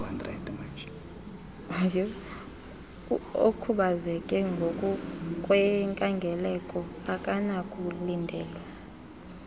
okhubazeke ngokwenkangeleko akanakulindelwa